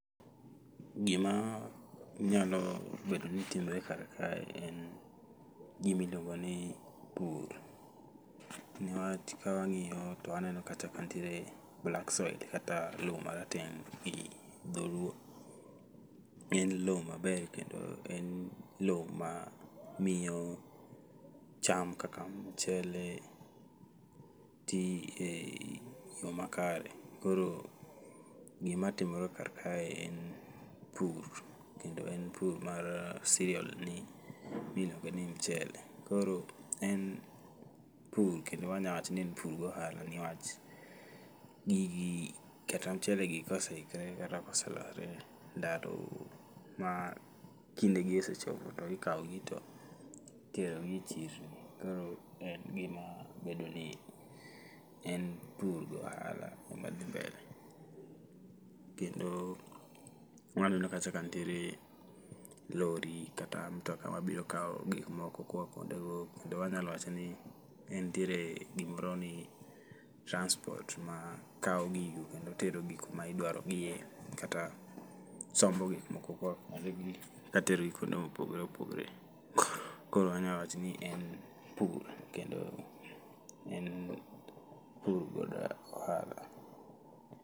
Gima nyalo betni timore ka en ni gima iluongo ni pur niwach ka wangiyo to waneo kata ka nitie black soil kata loo marateng gi dholuo. En loo maber kendo en loo mamiyo cham kaka mchele tii e yoo makare. Koro gima timre ka kae en pur kendo en pur mar cereal miluongo ni mchele, koro en pur kendo wanya wacho ni en pur gi ohala nikwach gigi kata mchelegi koseikore kata kose ma kindegi osechopo to ikawgi to iterogi e chirni. Koro en gima bedo ni en pur gi ohala madhi mbele. Kendo waneno ka kacha nitiere lorry kata mtoka mabiro kaw gik moko koa kuonde go kendo wanya wacho ni nitie gimoro ni transport ma kawgi kendo terogi kuma idwarogie kata sombo gik moko koa kuondegi katero gi kuond emopogore opogore. Koro wanya wacho ni en pur, kendo en pur kod aohala